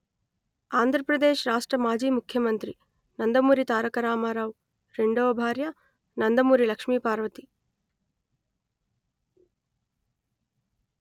ఆంధ్రప్రదేశ్ రాష్ట్ర మాజీ ముఖ్యమంత్రి నందమూరి తారక రామారావు రెండవ భార్య నందమూరి లక్ష్మీపార్వతి